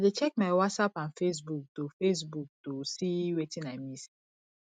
i dey check my whatsapp and facebook to facebook to see wetin i miss